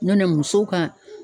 Ɲɔnɛ musow ka